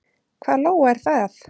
Hvað Lóa er það?